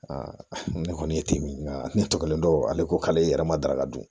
ne kɔni ye timinan ne tɔgɔ ale ko k'ale yɛrɛ ma daraka dun